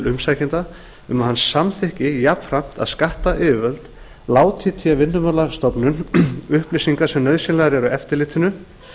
umsækjanda um að hann samþykki jafnframt að skattyfirvöld láti vinnumálastofnun í té upplýsingar sem nauðsynlegar eru eftirlitinu